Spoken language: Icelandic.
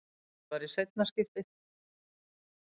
Þetta var í seinna skiptið.